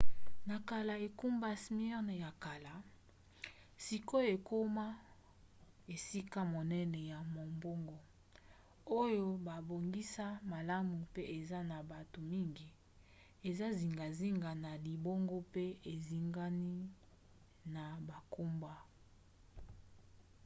na kala engumba smyrne ya kala sikoyo ekoma esika monene ya mombongo oyo babongisa malamu pe eza na bato mingi eza zingazinga ya libongo mpe ezingami na bangomba